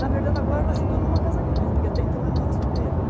Na verdade, agora ela se tornou uma casa grande, porque até então minha mãe era solteira, né?